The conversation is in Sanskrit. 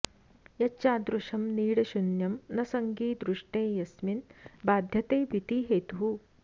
यच्चादृश्यं नीडशून्यं न सङ्गि दृष्टे यस्मिन् बाध्यते भीतिहेतुः